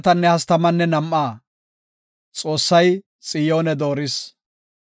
Godaw, Dawitanne I danda7ida metuwa ubbaa qopa.